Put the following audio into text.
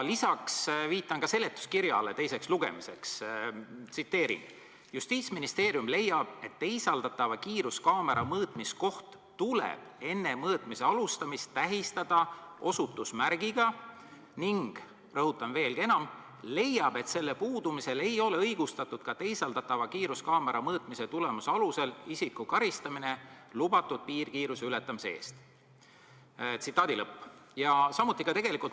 Lisaks viitan teise lugemise seletuskirjale: "Samuti leiab Justiitsministeerium, et teisaldatava kiiruskaamera mõõtmiskoht tuleb enne mõõtmise alustamist tähistada osutusmärgiga ning leiab, et selle puudumisel ei ole õigustatud teisaldatava kiiruskaamera mõõtmise tulemuse alusel isiku karistamine lubatud piirkiiruse ületamise eest.